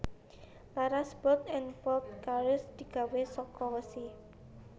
Laras bolt lan bolt carriere digawe saka wesi